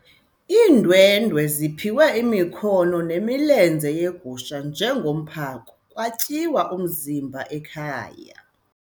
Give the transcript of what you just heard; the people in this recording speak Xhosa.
Iindwendwe ziphiwe imikhono nemilenze yegusha njengomphako kwatyiwa umzimba ekhaya.